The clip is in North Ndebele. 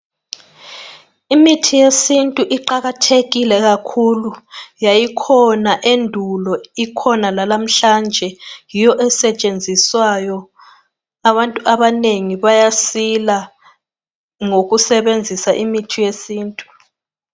Imithi yesintu iqakathekike kakhulu yayikhona endulo ikhona lalamhlanje yiyo esetshenziswayo abantu abanengi bayasila ngokusebenzisa imithi yesintu